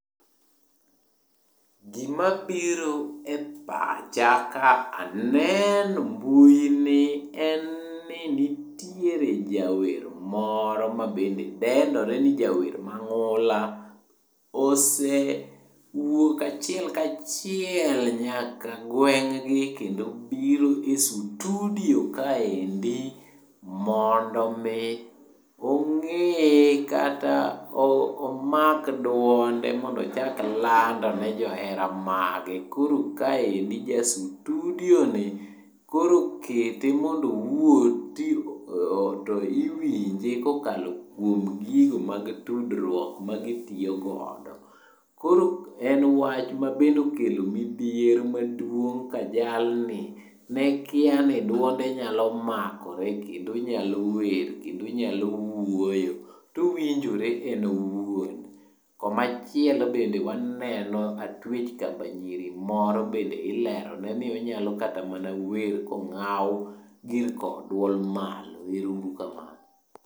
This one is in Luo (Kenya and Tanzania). Gima biro e pacha ka aneno mbui ni en ni nitiere jawer moro mabende dendore ni jawer mang'ula. Osewuok achiel kachiel nyaka gweng' gi kendo biro e sutudio kaendi mondo mi ong'e kata omak dwonde mondochak landone johere mage. Koro kaendi ja sutudioni koro okete mondo owuo to iwinje kokalo kuom gigo mag tudruok magitiyogodo. Koro en wach mabende okelo midhiero maduong ka jalni nekia ni dwonde nyalo makore kendo onyalo wer, kendo onyalo wuoyo towinjore en owuon. Komachielo bende waneno atwech kamba nyiri moro bende ilerone ni bende onyalo kata wer kong'aw gir kowo dwol malo. Ero uru kamano.